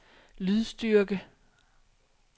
lydstyrke